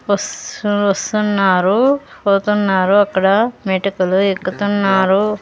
వస్తు-- వస్తున్నారు పోతున్నారు అక్కడ మెటికలు ఎక్కుతున్నారు.